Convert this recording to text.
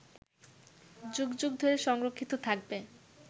যুগ যুগ ধরে সংরক্ষিত থাকবে